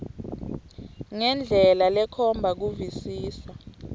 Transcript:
ngendlela lekhomba kuvisisa